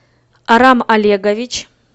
арам олегович